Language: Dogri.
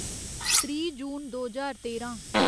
त्रीह् जून दो ज्हार तेरां